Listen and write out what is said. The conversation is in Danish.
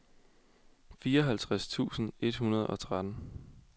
fireoghalvtreds tusind et hundrede og tretten